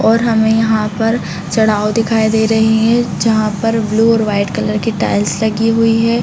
और हमें यहाँ पर चढाव दिखाई दे रहें हैं जहाँ पर ब्लू और वाइट कलर की टाइल्स लगी हुई हैं।